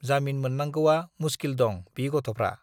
जामिन मोन्नांगौआ मुस्किल दं बि गथ'फ्रा।